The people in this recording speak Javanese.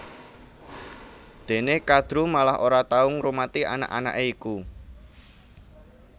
Déné Kadru malah ora tau ngrumati anak anaké iku